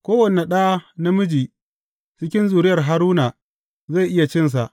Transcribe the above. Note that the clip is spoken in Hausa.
Kowane ɗa namiji cikin zuriyar Haruna zai iya cinsa.